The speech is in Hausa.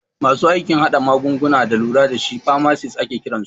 Masu aikin hada magunguna da lura dashi famasis ake kiransu